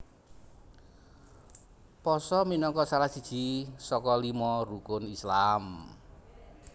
Pasa minangka salah siji saka lima Rukun Islam